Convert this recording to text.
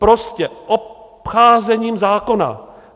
Prostě obcházením zákona.